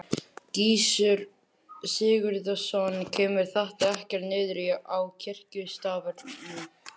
Gissur Sigurðsson: Kemur þetta ekkert niður á kirkjustarfinu?